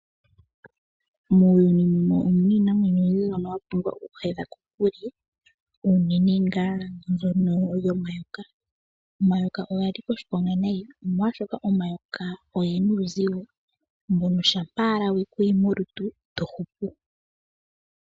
Muuyuni muno omuna iinamwenyo oyindji mbyono wa pumbwa okuhedha kokule unene ngaa mbyono yomayoka. Omayoka oga nika oshiponga nayi molwaashoka omayoka ogena uuzigo mbono shampa we ku yi molutu ito hupu.